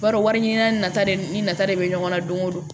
I b'a dɔn wari ɲini nata de nafa de bɛ ɲɔgɔn na don o don